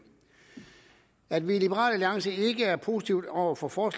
at vi i liberal alliance ikke er positive over for for